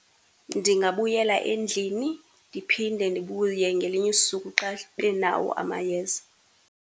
Ndingabuyela endlini, ndiphinde ndibuye ngelinye usuku xa benawo amayeza.